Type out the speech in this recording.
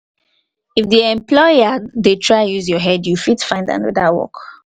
if di employer dey try use your head you fit find anoda work